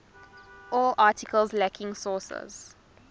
all articles lacking sources